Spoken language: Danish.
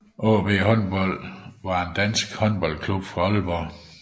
AaB Håndbold var en dansk håndboldklub fra Aalborg